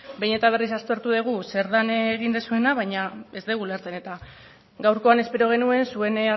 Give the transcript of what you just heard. behin eta berriz aztertu dugu zer den egin duzuena baina ez dugu ulertzen eta gaurkoan espero genuen zuen